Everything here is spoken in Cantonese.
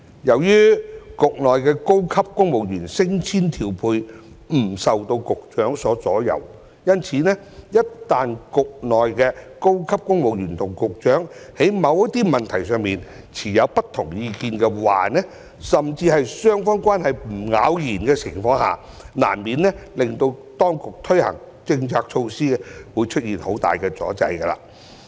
由於局內的高級公務員升遷調配不受局長所左右，一旦局內的高級公務員與局長在某些問題上持有不同意見，甚至雙方關係不咬弦的情況下，難免令當局推行政策措施時出現很大的阻滯。